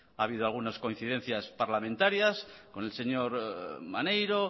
ha habido algunas coincidencias parlamentarias con el señor maneiro